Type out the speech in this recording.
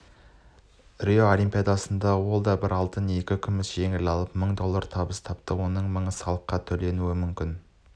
рио олимпиадасында ол бір алтын екі күміс медаль жеңіп алып мың доллар табыс тапты оның мыңы салыққа төленуі мүмкін